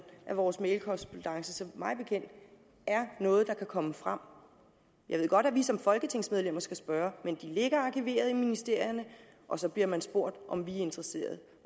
at vores mailkorrespondance er noget der kan komme frem jeg ved godt at vi som folketingsmedlemmer skal spørge men de ligger arkiveret i ministerierne og så bliver man spurgt om vi er interesseret